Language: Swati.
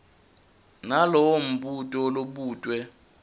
nalowo mbuto lobutwe